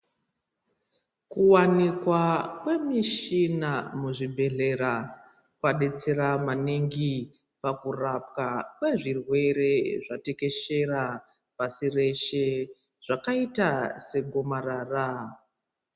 Kuwanikwa kwemishina muzvibhehlera kwabetsera maningi pakurapwa kwezvirwere zvatekeshera pasi rese zvakaita segomarara.